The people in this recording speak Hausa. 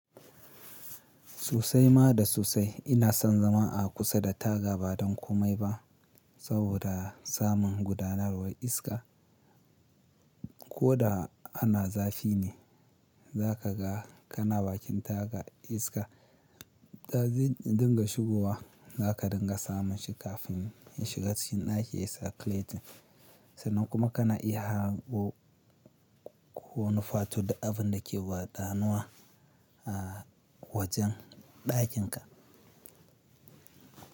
Sosai ma da susai ina son zama a kusa da taga ba don komai ba saboda samun gudanarwar iska. Ko da ana zafi ne, za ka ga kana bakin taga iska. Kagan in dinga shigowa, za ka dinga samun shi kafin ya shiga cikin ɗaki yayi circulating. Sannan kuma kana iya hango wani wato duk abunda ke gudanuwa a wajen ɗakinka.